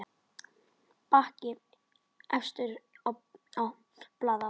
Bakki efstur blaði á.